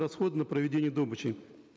расходы на проведение добычи